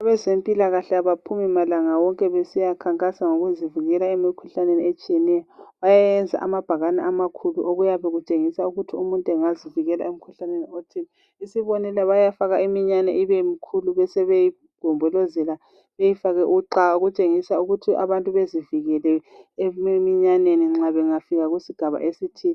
Abezempilakahle abaphumi malanga wonke besiyakhankasa ngokuzivikela emikhuhlaneni etshiyeneyo. Bayenza amabhakani amakhulu okuyabe kutshengisa ukuthi umuntu angazivikela emikhuhlaneni othize. Isibonelo ,bayafaka imiyane ibemikhulu besebeyigombolozela beyifake uxa okutshengisa ukuthi abantu bezivikele eminyaneni nxa bengafika kusigaba esithile.